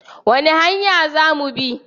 Wani hanya za mu bi?